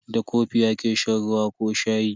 Da kofi ake shan ruwa ko shayi.